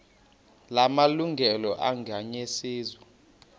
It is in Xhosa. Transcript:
la malungelo anganyenyiswa